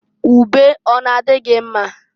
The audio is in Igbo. Ube ọ n'a dị gị mma?